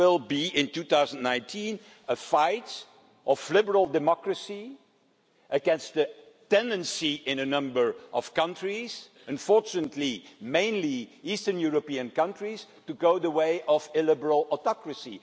There will be, in 2019, a fight between liberal democracy and the tendency in a number of countries unfortunately mainly eastern European countries to go the way of illiberal autocracy.